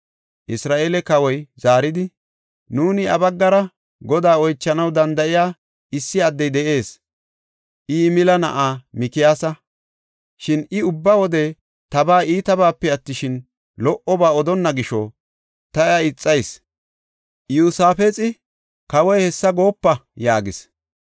Isra7eele kawoy zaaridi, “Nuuni iya baggara Godaa oychanaw danda7iya issi addey de7ees. I, Yimila na7aa Mikiyaasa. Shin I ubba wode tabaa iitabaape attishin, lo77oba odonna gisho ta iya ixayis.” Iyosaafexi, “Kawoy hessa goopo!” yaagis.